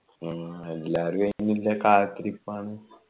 ആ എല്ലാരും അയിനുള്ള കാത്തിരിപ്പാണ്